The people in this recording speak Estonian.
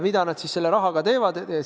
Mida nad selle rahaga teevad?